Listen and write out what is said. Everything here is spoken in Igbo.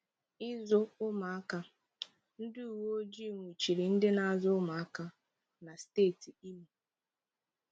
Ịzụ ụmụaka: Ndị uwe ojii nwụchiri ndị na-azụ ụmụaka na steeti Imo.